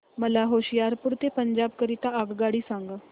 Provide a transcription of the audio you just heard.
मला होशियारपुर ते पंजाब करीता आगगाडी सांगा